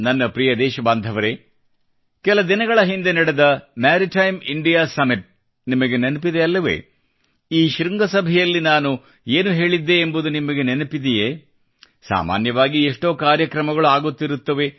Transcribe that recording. ನನ್ನ ಪ್ರಿಯದೇಶಬಾಂಧವರೆ ಕೆಲ ದಿನಗಳ ಹಿಂದೆ ನಡೆದ ಮೆರಿಟೈಮ್ ಇಂಡಿಯಾ ಸಮ್ಮಿಟ್ ನಿಮಗೆ ನೆನಪಿದೆ ಅಲ್ಲವೇ ಈ ಶೃಂಗಸಭೆಯಲ್ಲಿ ನಾನು ಏನು ಹೇಳಿದ್ದೆ ಎಂಬುದು ನಿಮಗೆ ನೆನಪಿದೆಯೇ ಸಾಮಾನ್ಯವಾಗಿ ಎಷ್ಟೋ ಕಾರ್ಯಕ್ರಮಗಳು ಆಗುತ್ತಿರುತ್ತವೆ